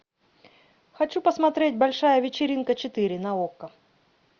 хочу посмотреть большая вечеринка четыре на окко